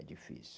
É difícil.